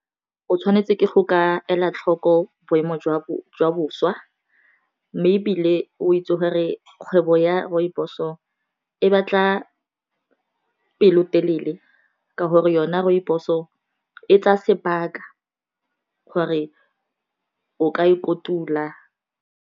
O tshwanetse ke go ka ela tlhoko boemo jwa boswa, mme e bile o itse gore kgwebo ya rooibos-o e batla pelotelele ka gore yona rooibos-o e tsaya sebaka gore o ka ikotula.